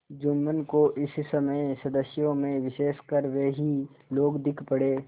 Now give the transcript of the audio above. जुम्मन को इस समय सदस्यों में विशेषकर वे ही लोग दीख पड़े